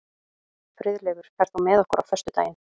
Friðleifur, ferð þú með okkur á föstudaginn?